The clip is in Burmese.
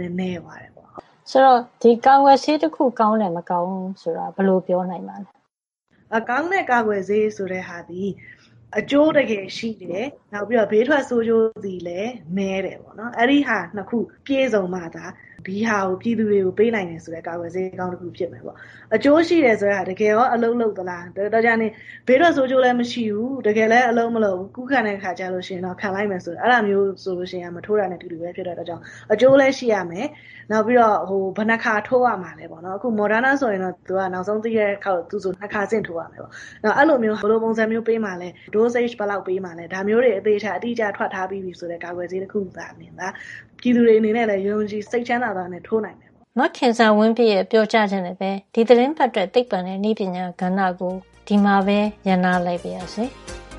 နဲ နည်းသွားတယ် ပေါ့။” “ဒီ ကာကွယ်ဆေး တခု ကောင်းတယ်၊ မကောင်းဘူး ဆိုတာ ဘယ်လို ပြောနိုင်ပါသလဲ။” “ကောင်းတဲ့ ကာကွယ်ဆေး ဆိုတဲ့ ဟာသည် အကျိုး တကယ်ရှိတယ်။ နောက်ပြီးတော့ ဘေးထွက် ဆိုးကျိုးတွေ လည်း နဲတယ် ပေါ့နော်။ အဲဒါ ၂ ခု ပြည့်စုံမှသာ ဒီဟာကို ပြည်သူတွေကို ပေးနိုင်တယ် ဆိုတဲ့ ကာကွယ်ဆေးကောင်း တခု ဖြစ်မယ်ပေါ့။ အကျိုးရှိတယ် ဆိုတာက တကယ်ကော အလုပ်လုပ်သလား၊ တော်ကြာနေ ဘေးထွက် ဆိုးကျိုးလည်း မရှိဘူး။ တကယ်လည်း အလုပ်မလုပ်ဖူး။ ကူးလာတဲ့ အခါကျရင်တော့ ခံလိုက်မယ်ဆို။ အဲဒီအခါမျိုး ကျ မထိုးတာနဲ့ အတူတူပဲ ဖြစ်တဲ့ အတွက်ကြောင့် အကျိုးလည်း ရှိရမယ်။ နောက် ဘယ်နှစ်ခါ ထိုးရမှာလဲ ပေါ့နော်။ အခု Moderna ဆိုရင် သူက နောက်ဆုံးသိရတာက သူ့ဆို ၂ ခါ ဆင့် ထိုးရမှာ ပေါ့နော်။ အဲဒီလိုမျိုး ဘယ်လိုပုံစံမျိုး ပေးမှာလဲ dosage ဘယ်လောက်ပေးမှာလည်း။ ဒါမျိုးတွေ အသေအချာ တိတိကျကျ ထွက်ထားပြီ ဆိုတဲ့ ကာကွယ်ဆေးတခု သာလ ျှင် ပြည်သူတွေ အနေနဲ့ လည်း ယုံယုံကြည်ကြည် စိတ်ချမ်းချမ်းသာသာနဲ့ ထိုးနိုင်မယ်ပေါ့။” မခင်ဇာဝင်းပြည့်ရဲ့ ပြောကြားချက်နဲ့ပဲ ဒီသီတင်းပတ်အတွက် သိပ္ပံနဲ့နည်းပညာ ကဏ္ဍကို ဒီမှာပဲ ရပ်နား လိုက်ပါရစေ။